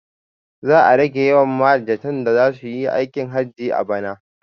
Za a rage yawan mahajjatan da zasuyi aikin hajji a bana